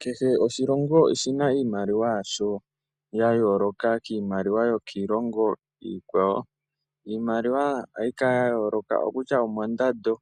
Kehe oshilongo oshina iimaliwa yaasho ya yoloka kiimaliwa yokiilongo iikwawo. Iimaliwa ohayi kala yayooloka okokutya omondando,